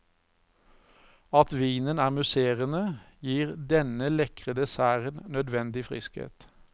At vinen er musserende, gir denne lekre desserten nødvendig friskhet.